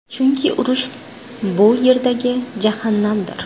Chunki urush bu Yerdagi jahannamdir.